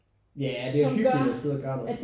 Jah det er hyggeligt at sidde og gøre noget